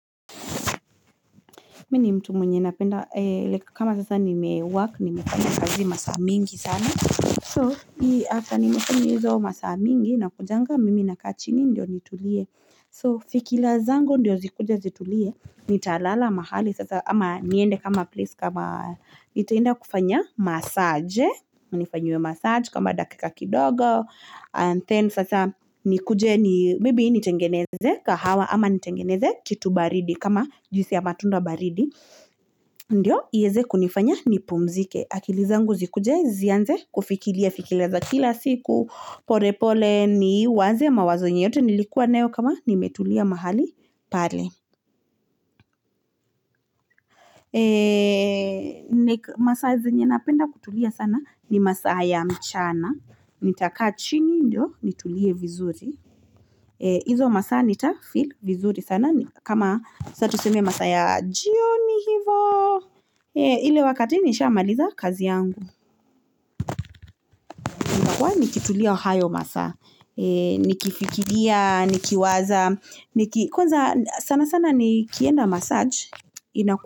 Mimi ni mtu mwenye napenda, like kama sasa nimework, nimefanya kazi masaa mingi sana. So after nimefanya hizo masaa mingi, nakujanga mimi nakaa chini ndio nitulie. So fikila zangu ndiyo zikuje zitulie, nitalala mahali sasa, ama niende kama place kama, nitaenda kufanya massage, nifanyiwe massage kama dakika kidogo, and then sasa nikuje ni, maybe nitengeneze kahawa, ama nitengeneze kitu baridi kama, juisi ya matunda baridi, Ndio iweze kunifanya nipumzike. Akili zangu zikuje zianze, kufikilia, fikila za kila siku, pole pole niwaze, mawazo yenye yote, nilikuwa nayo kama, nimetulia mahali pale. Masaa zenye napenda kutulia sana, ni masaa ya mchana. Nitakaa chini ndio nitulie vizuri. Hizo masaa nitafeel vizuri sana, kama sasa tuseme masaa ya jioni hivyo. Ile wakati nishamaliza kazi yangu. Nitakuwa nikitulia hayo masaa, nikifikilia, nikiwaza, kwanza sana sana nikienda massage, ina.